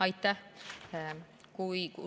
Aitäh!